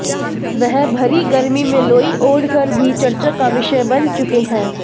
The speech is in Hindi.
वह भरी गर्मी में लोई ओढ़ कर भी चर्चा का विषय बन चुके हैं